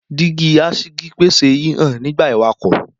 Dígí aṣígí pese hihan nigba iwakọ.